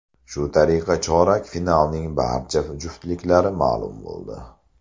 Shu tariqa chorak finalning barcha juftliklari ma’lum bo‘ldi.